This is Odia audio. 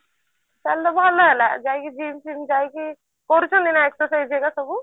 ତାହେଲେ ଭଲ ହେଲା ଯାଇକି gym ଫିମ ଯାଇକି କରୁଛନ୍ତି ନା exercise ସବୁ